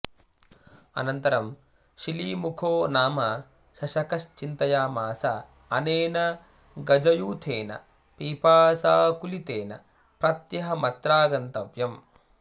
अनन्तरं शिलीमुखो नाम शशकश्चिन्तयामास अनेन गजयूथेन पिपासाकुलितेन प्रत्यहमत्रागन्तव्यम्